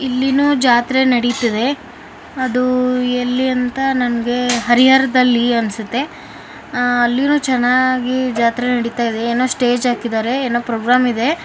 ಇಲ್ಲಿನೂ ಜಾತ್ರೆ ನಡೆತಿದೆ ಅದು ಎಲ್ಲಿ ಅಂತ ನನಗೆ ಹರಿಹರದಲ್ಲಿ ಅನ್ಸುತ್ತೆ ಅಲ್ಲಿರೋ ಜನ ಅಲ್ಲೂ ಚೆನ್ನಾಗಿ ಜಾತ್ರೆ ನಡೀತಾ ಇದೆ ಏನೋ ಸ್ಟೇಜ್ ಹಾಕಿದರೆ ಏನೋ ಪ್ರೋಗ್ರಾಮ್ ಇದೆ.